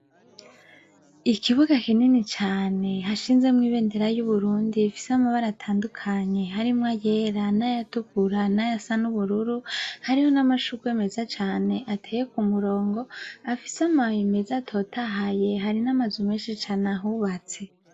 Ikibuga kinini cane, hashinzemwo ibendera y'Uburundi, amabara atandukanye harimwo ayera, n'ayatukura, n'ayasa n'ubururu, hariho m'amashurwe meza cane ateye ku murongo, afise amababi meza atotahaye, hari n'amazu menshi cane ahubatse.